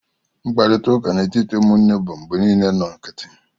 Mkparịta ụka n'etiti ụmụnne bụ mgbe niile nnọọ nkịtị